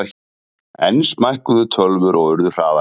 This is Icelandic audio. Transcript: Enn smækkuðu tölvur og urðu hraðari.